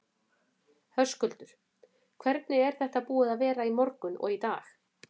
Höskuldur: Hvernig er þetta búið að vera í morgun og í dag?